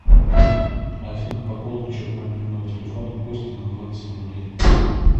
афина пополнить счет мобильного телефона кости на двадцать рублей